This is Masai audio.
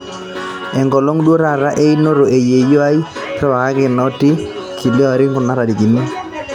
enkolong duo taata einoto e yieyio aai riwakaki noti kila olari kuna tarikini